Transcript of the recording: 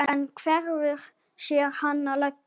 En hefurðu séð hana leggja?